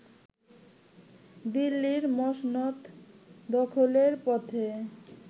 দিল্লির মসনদ দখলের পথে